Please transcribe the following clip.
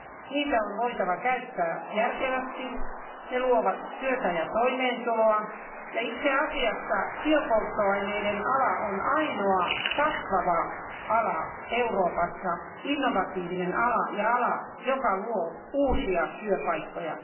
Niitä on voitava käyttää järkevästi, ne luovat työtä ja toimeentuloa, ja itse asiassa biopolttoaineiden ala on ainoa kasvava ala Euroopassa, innovatiivinen ala ja ala, joka luo uusia työpaikkoja.